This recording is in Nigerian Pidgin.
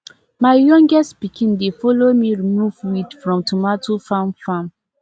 my youngest pikin dey follow me remove weed from tomato farm farm